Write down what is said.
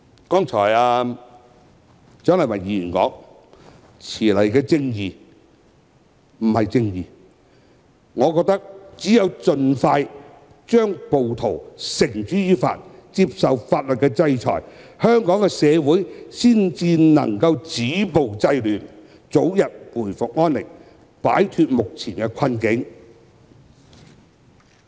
正如蔣麗芸議員剛才說："遲來的正義，不是正義"，我覺得只有盡快把暴徒繩之於法，令他們接受法律制裁，香港社會才能止暴制亂，早日回復安寧，並擺脫目前的困境。